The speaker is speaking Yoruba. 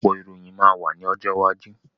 Ọ̀pọ̀ ìròyìn máa wá ní ọjọ́ iwájú